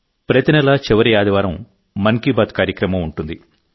ప్రతి నెలా చివరి ఆదివారం మన్ కీ బాత్ కార్యక్రమం ఉంటుంది